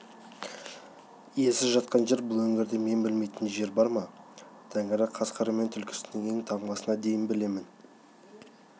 иесіз жатқан жер бұл өңірде мен білмейтін жер бар ма тәңірі қасқыры мен түлкісінің ен-таңбасына дейін білемін